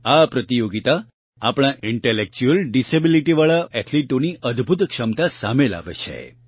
આ પ્રતિયોગિતા આપણા ઇન્ટેલેક્ચ્યુઅલ ડીસેબીલીટી વાળા એથ્લીટોની અદભૂત ક્ષમતા સામે લાવે છે